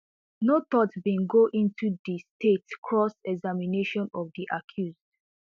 no thought bin go into di state cross examination of di accused